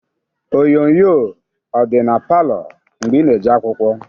Onyoonyoo ọ dị na palọ gị mgbe ị na-eje akwụkwọ?